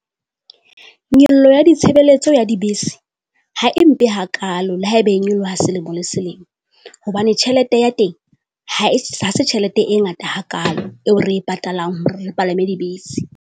Nyollo ya ditshebeletso ya dibese ha e mpe hakaalo le haebe e nyoloha ha selemo le selemo. Hobane tjhelete ya teng ha e ha se tjhelete e ngata hakaalo eo re e patalang hore le palame dibese.